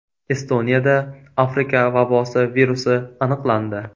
Estoniyada Afrika vabosi virusi aniqlandi .